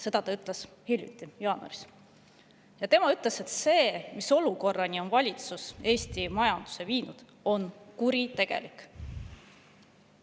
Ta ütles hiljuti, jaanuaris, et see, mis olukorda on valitsus Eesti majanduse viinud, on kuritegelik.